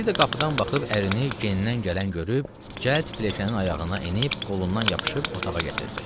Bir də qapıdan baxıb ərini gendən gələn görüb, cəld pilləkənin ayağına enib, qolundan yapışıb otağa gətirdi.